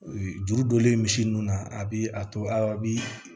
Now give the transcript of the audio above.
Juru donlen misi nun na a bɛ a to a bɛ